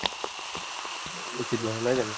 উচিত নহয় নহয় জানো